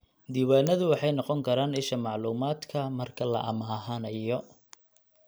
Diiwaanadu waxay noqon karaan isha macluumaadka marka la amaahanayo.